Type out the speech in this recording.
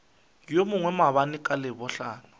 yo mongwe maabane ka labohlano